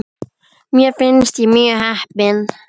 Mér fannst ég mjög heppin.